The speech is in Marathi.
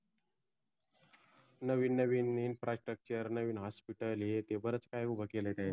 नवीन नवीन INFRASTRUCTURE नवीन HOSPITAL बरेच काही उभं केल त्यांनी